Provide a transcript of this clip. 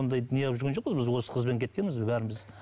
ондай не қылып жүрген жоқпыз біз осы қызбен кеткенбіз бәріміз